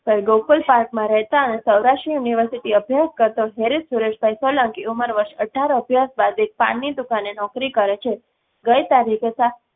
પર ગોકુલપાર્કમાં રહેતા અને સૌરાષ્ટ્ર University અભ્યાસ કરતો ખેરીશ સુરેશભાઇ સોલંકી ઉમર વર્ષ અઢાર અભ્યાસ બાદ એક પાનની દુકાને નોકરી કરે છે. ગઈ તારીખે સા